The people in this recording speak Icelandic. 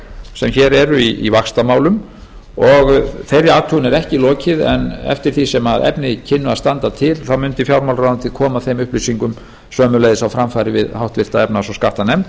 sem hér eru í vaxtamálum og þeirri athugun er ekki lokið en eftir því sem efni kynnu að standa til þá mundi fjármálaráðuneytið koma þeim upplýsingum sömuleiðis á framfæri við háttvirta efnahags og skattanefnd